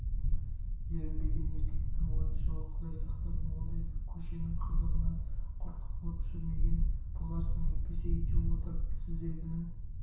ерінбеген еркектің ойыншығы құдай сақтасын ондайдан көшенің қызығынан құр қалып жүрмеген боларсың әйтпесе үйде отырып түздегінің